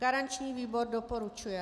Garanční výbor doporučuje.